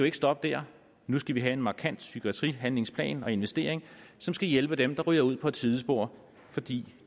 ikke stoppe der nu skal vi have en markant psykiatrihandlingsplan og investering som skal hjælpe dem der ryger ud på et sidespor fordi